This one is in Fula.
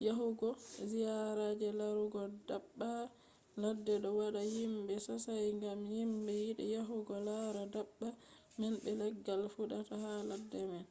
yahugo ziyara je larugo daabba ladde ɗo wadda himɓe sosai gam himɓe yiɗi yahugo lara daabba man be leggal fuɗata ha ladde man